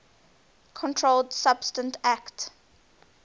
controlled substances acte